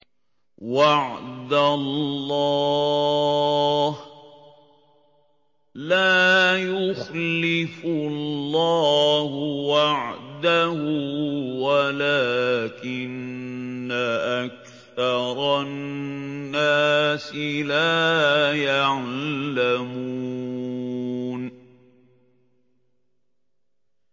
وَعْدَ اللَّهِ ۖ لَا يُخْلِفُ اللَّهُ وَعْدَهُ وَلَٰكِنَّ أَكْثَرَ النَّاسِ لَا يَعْلَمُونَ